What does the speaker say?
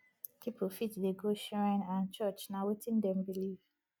pipo fit dey go shrine and church na wetin dem believe